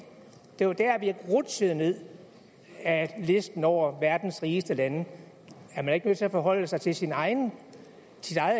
det var der vi rutsjede ned ad listen over verdens rigeste lande er man ikke nødt til at forholde sig til sit eget